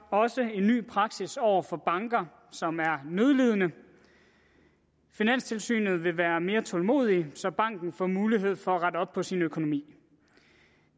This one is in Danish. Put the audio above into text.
også en ny praksis over for banker som er nødlidende finanstilsynet vil være mere tålmodige så banken får mulighed for at rette op på sin økonomi